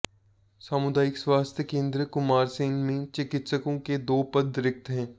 सामुदायिक स्वास्थ्य केंद्र कुमारसैन में चिकित्सकों के दो पद रिक्त हैं